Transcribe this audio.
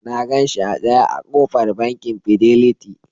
Na gan shi a tsaye a ƙofar Bankin Fidelity.